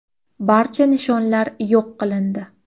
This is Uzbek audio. Barcha nishonlar yo‘q qilindi.